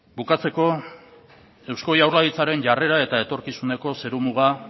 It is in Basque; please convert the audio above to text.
bukatzeko eusko jaurlaritzaren jarrera eta etorkizuneko zerumuga